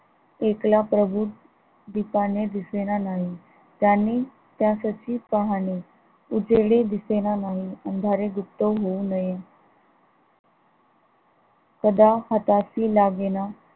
एकला प्रभू दीपाने दिसेना नाही त्यांनी त्यासाठी पाहणी उजेडी दिसेना अंधारी गुप्त होऊ नये कदा हाताशी लागेना